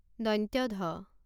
ধ